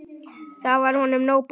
Þá var honum nóg boðið.